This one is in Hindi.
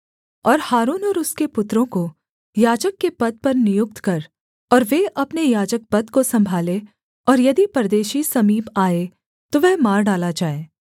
और हारून और उसके पुत्रों को याजक के पद पर नियुक्त कर और वे अपने याजकपद को सम्भालें और यदि परदेशी समीप आए तो वह मार डाला जाए